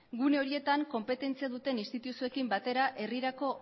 gune horietan konpetentzia duten instituzioekin batera herrirako